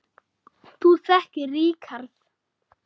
Þú þekkir Ríkharð